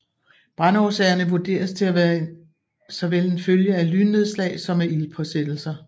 Brandårsagerne vurderes til at være såvel en følge af lynnedslag som af ildspåsættelser